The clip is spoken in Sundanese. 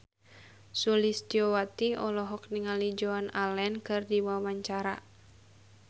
Sulistyowati olohok ningali Joan Allen keur diwawancara